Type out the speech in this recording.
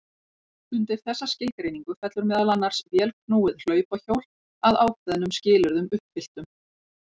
Undir þessa skilgreiningu fellur meðal annars vélknúið hlaupahjól að ákveðnum skilyrðum uppfylltum.